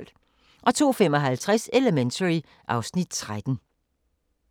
02:55: Elementary (Afs. 13)